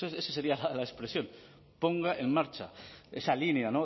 esa sería la expresión ponga en marcha esa línea